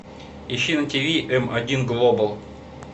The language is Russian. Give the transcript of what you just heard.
ищи на ти ви м один глобал